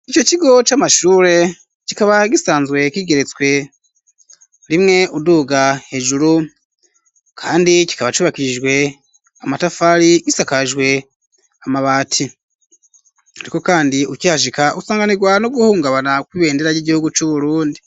Ico kigo c'amashure kikaba gisanzwe kigeretswe rimwe uduga hejuru, kandi kikaba cubakirijwe amatafari gisakajwe amabati, ariko, kandi ukihashika usanganirwa no guhungabana kwibendera ry'igihugu c'uburundi.